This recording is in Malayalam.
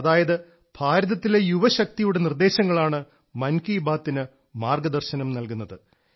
അതായത് ഭാരതത്തിലെ യുവശക്തിയുടെ നിർദേശങ്ങളാണ് മൻ കി ബാത്തിനു മാർഗദർശനം നൽകുന്നത്